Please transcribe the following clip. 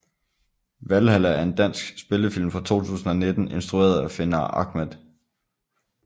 Valhalla er en dansk spillefilm fra 2019 instrueret af Fenar Ahmad